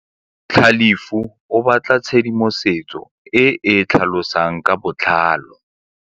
Tlhalefô o batla tshedimosetsô e e tlhalosang ka botlalô.